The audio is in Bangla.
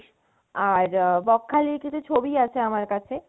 আর বকখালির কিছু ছবি আছে আমার কাছে